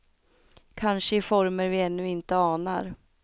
Kanske i former vi ännu inte anar.